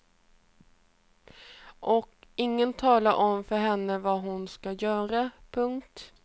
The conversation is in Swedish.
Och ingen talar om för henne vad hon ska göra. punkt